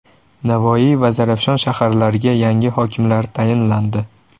Navoiy va Zarafshon shaharlariga yangi hokimlar tayinlandi.